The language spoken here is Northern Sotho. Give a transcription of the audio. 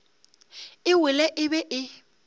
e wele e be e